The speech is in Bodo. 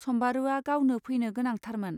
सम्बारूआ गावनो फैनो गोनांथारमोन.